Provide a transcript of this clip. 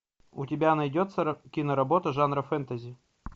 у тебя найдется киноработа жанра фэнтези